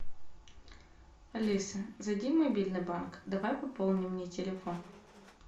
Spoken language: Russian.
алиса зайди в мобильный банк давай пополним мне телефон